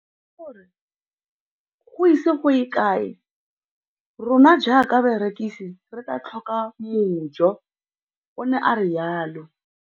Ke ne ka lemoga gore go ise go ye kae rona jaaka barekise re tla tlhoka mojo, o ne a re jalo.